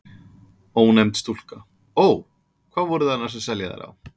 Ónefnd stúlka: Ó. Hvað voru þið annars að selja þær á?